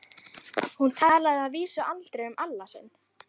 Hún talaði að vísu aldrei um Alla sinn.